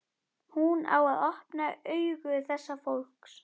Hún á að opna augu þessa fólks.